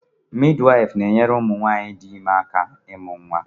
Midwife na-enyere ụmụ nwanyị dị ime aka ịmụ nwa.